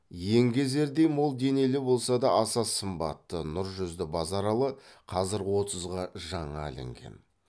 еңгезердей мол денелі болса да аса сымбатты нұр жүзді базаралы қазір отызға жаңа ілінген